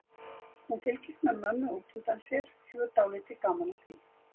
Hún fylgist með mömmu út undan sér, hefur dálítið gaman af því.